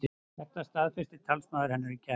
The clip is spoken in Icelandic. Þetta staðfesti talsmaður hennar í gær